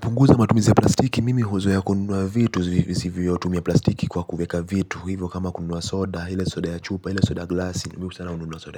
Punguza matumizi ya plastiki, mimi huzoea kununua vitu visivyo tumia plastiki kwa kuweka vitu. Hivyo kama kununua soda, hile soda ya chupa, hile soda ya